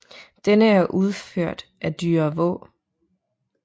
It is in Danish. Denne er udført af Dyre Vaa